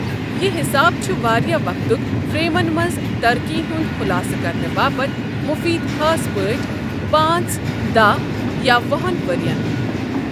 یہِ حساب چھ واریٛاہ وقتُک فریمَن منٛز ترقی ہُنٛد خُلاصہٕ کرنہٕ باپتھ مفید خاص پٲٹھۍ پانٛژ، داہ، یا وُہن ؤریَن ۔